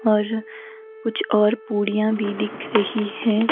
और कुछ और पूड़ियाँ भी दिख रही है।